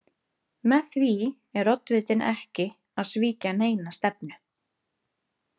Með því er oddvitinn ekki að svíkja neina stefnu.